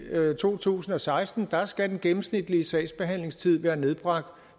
to tusind og seksten skal den gennemsnitlige sagsbehandlingstid være nedbragt